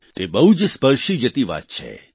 તે બહુ જ સ્પર્શી જતી વાત છે